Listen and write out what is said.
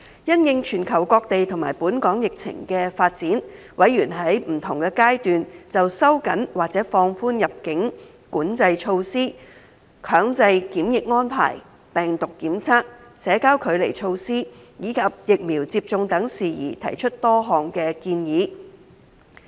因應全球各地和本港疫情的發展，委員在不同階段就收緊或放寬入境管制措施、強制檢疫安排、病毒檢測、社交距離措施，以及疫苗接種等事宜提出多項建議。